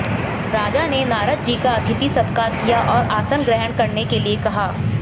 राजा ने नारद जी का अतिथि सत्कार किया और आसन ग्रहण करने के लिए कहा